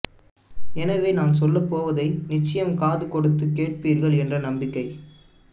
எனவே நான் சொல்லப்போவதை நிச்சயம் காது கொடுத்துக் கேட்பீர்கள் என்ற நம்பிக்கை